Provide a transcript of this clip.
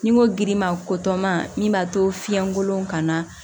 Ni n ko girima ko tɔ ma min b'a to fiɲɛkolon kama